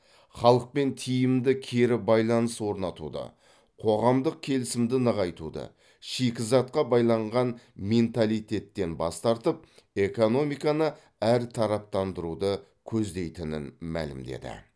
халықпен тиімді кері байланыс орнатуды қоғамдық келісімді нығайтуды шикізатқа байланған менталитеттен бас тартып экономиканы әртараптандыруды көздейтінін мәлімдеді